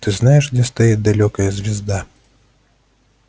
ты ж знаешь где стоит далёкая звезда